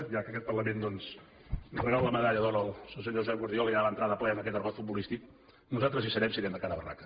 ja que aquest parlament doncs regala medalla d’or al senyor josep guardiola i ja entra de ple en aquest argot futbolístic nosaltres hi serem si anem de cara a barraca